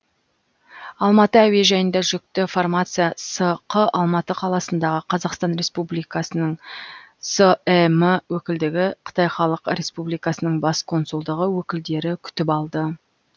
алматы әуежайында жүкті фармация сқ алматы қаласындағы қазақстан республикасының сім өкілдігі қытай халық республикасының бас консулдығы өкілдері күтіп алды